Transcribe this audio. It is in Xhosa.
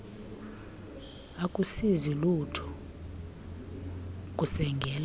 akusizi lutho ukusengela